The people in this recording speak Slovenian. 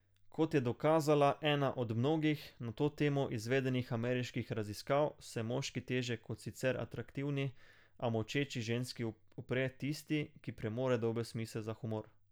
Kot je dokazala ena od mnogih, na to temo izvedenih ameriških raziskav, se moški težje kot sicer atraktivni, a molčeči ženski upre tisti, ki premore dober smisel za humor.